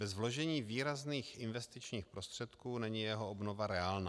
Bez vložení výrazných investičních prostředků není jeho obnova reálná.